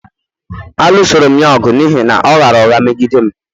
A lụsoru'm ya ọgụ n’ihi na ọ ghaara ụgha meghi dem